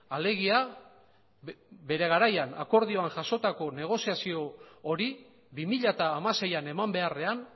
alegia bere garaian akordioan jasotako negoziazio hori bi mila hamaseian eman beharrean